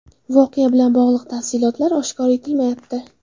Voqea bilan bog‘liq tafsilotlar oshkor etilmayapti.